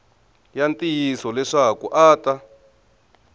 ya ntiyiso leswaku a ta